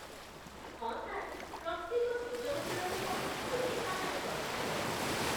ହଁ, ସାର୍। ପ୍ରତ୍ୟେକ ସୃଜନଶୀଳ ରୂପ ଗୋଟିଏ କାହାଣୀ କହିଥାଏ